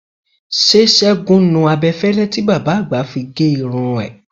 Ṣé Ṣẹ́gun nu abẹ́fẹ́lẹ́ tí bàbá àgbà fi gé irun ẹ?